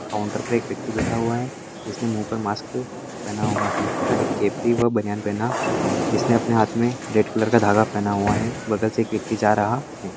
Counter पे एक व्यक्ति बैठा हुआ है जिसने मु पर मास्क पेहना हुआ है तथा एक केपरी व बनियान पेहणा है इसने अपने हात मे रेड कलर का धागा पेहणा हुआ है बगल से एक व्यक्ति जा रहा है।